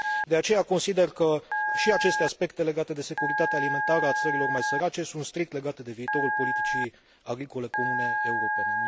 De aceea, consider că și aceste aspecte legate de securitatea alimentară a țărilor mai sărace sunt strict legate de viitorul politicii agricole comune europene.